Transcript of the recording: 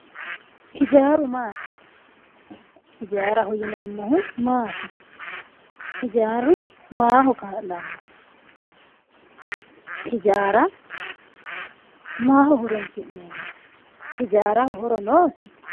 hijaaru maati? hijaaraho yineemmohu maati? hijaaru maaho kaa'lanno? hijaara maaho horonsi'neemmo? hijaaraho horo noosi?